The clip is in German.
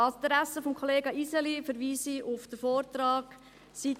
An diese Adresse des Kollegen Iseli verweise ich auf den Vortrag, Seite 2: